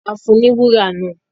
A fún un ní wúrà náà